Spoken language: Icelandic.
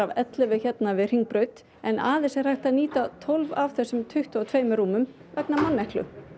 ellefu hérna við Hringbraut en aðeins er hægt að nýta tólf af þessum tuttugu og tveimur rúmum vegna manneklu